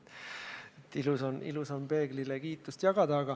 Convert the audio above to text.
Ilus on peeglile kiitust jagada.